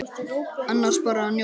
Annars bara að njóta.